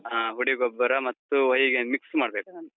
ಹಾ ಹುಡಿಗೊಬ್ಬರ ಮತ್ತು ಹೊಯಿಗೆ mix ಮಾಡ್ಬೇಕು.